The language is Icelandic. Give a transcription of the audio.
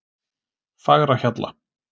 Fagrahjalla